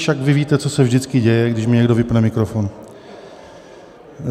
Však vy víte, co se vždycky děje, když mně někdo vypne mikrofon.